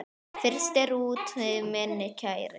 Frystir úti minn kæri.